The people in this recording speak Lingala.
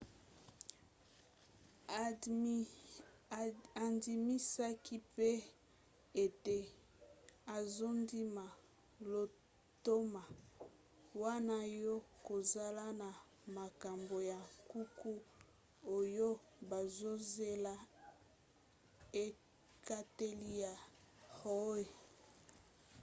andimisaki mpe ete azondima lotomo wana ya kozala na makambo ya nkuku oyo bazozela ekateli ya roe